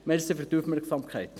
Danke für die Aufmerksamkeit.